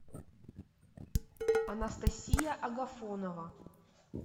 анастасия агафонова